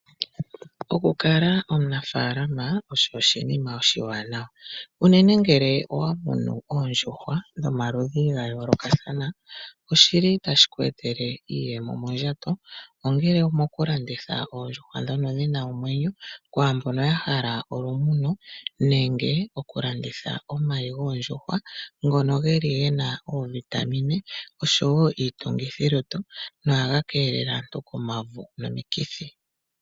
Okukala omunafaalama osho oshinima oshiwanawa unene ngele owamono oondjuhwa ndhono dhomaludhi gayoolokathana, oshili tashi ku etele iiyemo mondjato, ongele oto landitha oondjuhwa dhina omwenyo kwaambono yahala olumuno nenge okulanditha omayi goondjuhwa. Ogena iitungithilutu nohaga keelele aantu komauvu nokomikithi.